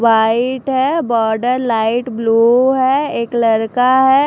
White है border light blue है एक लड़का है।